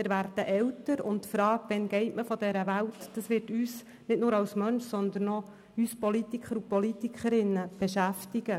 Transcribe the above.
Wir werden älter, und die Frage, wann wir von dieser Welt gehen, wird uns nicht nur als Mensch, sondern auch uns als Politikerinnen und Politiker beschäftigen.